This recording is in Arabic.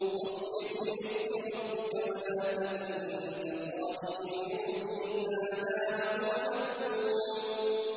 فَاصْبِرْ لِحُكْمِ رَبِّكَ وَلَا تَكُن كَصَاحِبِ الْحُوتِ إِذْ نَادَىٰ وَهُوَ مَكْظُومٌ